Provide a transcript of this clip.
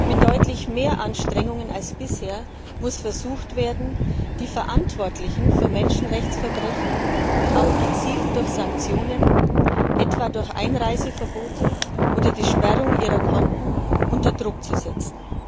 Mit deutlich mehr Anstrengungen als bisher muss versucht werden, die Verantwortlichen für Menschenrechtsverbrechen auch gezielt durch Sanktionen etwa durch Einreiseverbote oder die Sperrung ihrer Konten unter Druck zu setzen.